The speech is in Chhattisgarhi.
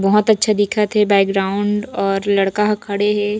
बहोत अच्छा दिखत हे बैकग्राउंड और लड़का ह खड़े हे।